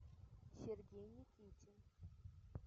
сергей никитин